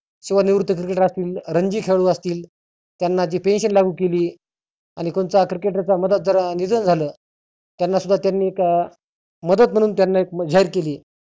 शिवाय निवृत्त cricketer रंजी खेळाडु असतील त्यांना ती pension लागु केली. आणि कोणचा cricket मधात निधन झालं त्यांना सुद्धा त्यांनी मदत म्हणुन त्याना जाहिर केली.